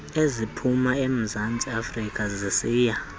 eziphuma emzantsiafrika zisiya